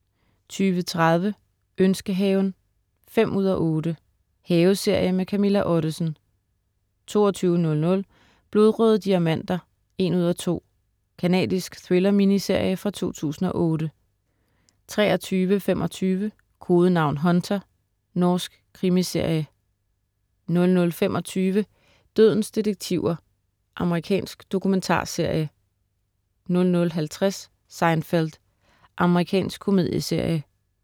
20.30 Ønskehaven 5:8. Haveserie med Camilla Ottesen 22.00 Blodrøde diamanter 1:2 Canadisk thriller-miniserie fra 2008 23.25 Kodenavn Hunter. Norsk krimiserie 00.25 Dødens detektiver. Amerikansk dokumentarserie 00.50 Seinfeld. Amerikansk komedieserie